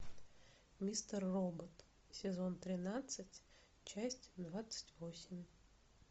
мистер робот сезон тринадцать часть двадцать восемь